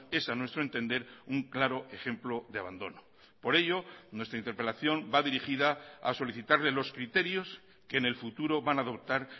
es a nuestro entender un claro ejemplo de abandono por ello nuestra interpelación va dirigida a solicitarle los criterios que en el futuro van a adoptar